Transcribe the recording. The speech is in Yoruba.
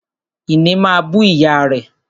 Ìní máa bú ìyá rẹ̀